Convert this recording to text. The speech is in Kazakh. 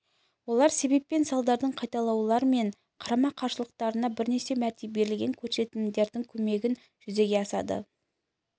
олар себеп пен салдардың қайталаулар мен қарама-қарсылықтардың бірнеше мәрте берілген көрсетілімдердің көмегімен жүзеге асады